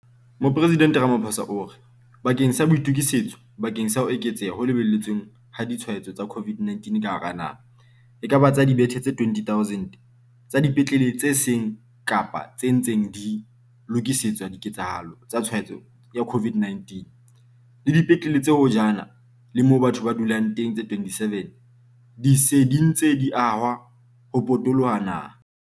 Mopresidente Ramaphosa o re, bakeng sa boitokisetso bakeng sa ho eketseha ho lebeletsweng ha ditshwaetso tsa COVID-19 ka hara naha, ekaba tsa dibethe tse 20 000 tsa dipetlele tse seng kapa tse ntseng di lokisetswa diketsahalo tsa tshwaetso ya COVID-19, le dipetlele tse hojana le moo batho ba dulang teng tse 27 di se dintse di ahwa ho potoloha naha.